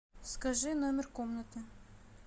скажи номер комнаты